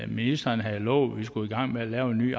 ministeren havde lovet at vi skulle i gang med at lave en ny